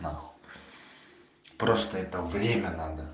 просто это время надо